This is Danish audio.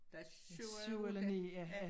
Der er 7 eller 8 ja